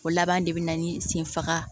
O laban de be na ni senfaga